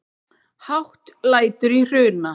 Hátt lætur í Hruna